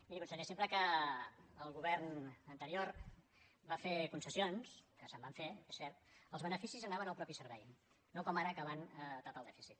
miri conseller sempre que el govern anterior va fer concessions que se’n van fer és cert els beneficis anaven al propi servei no com ara que van a tapar el dèficit